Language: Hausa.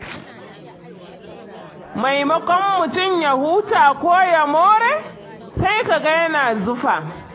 Maimakon mutum ya huta ko ya more, sai ka ga yana zufa.